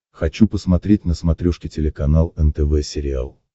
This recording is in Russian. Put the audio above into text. хочу посмотреть на смотрешке телеканал нтв сериал